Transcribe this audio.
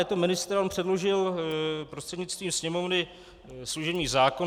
Je to ministr a on předložil prostřednictvím Sněmovny služební zákon.